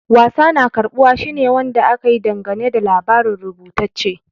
Wasa na karbuwa shine Wanda aka yi dangane da labari rubutacce.